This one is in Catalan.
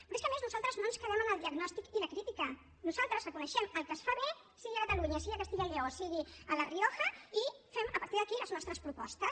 però és que a més nosaltres no ens quedem en el diagnòstic i la crítica nosaltres reconeixem el que es fa bé sigui a catalunya sigui a castella i lleó sigui a la rioja i fem a partir d’aquí les nostres propostes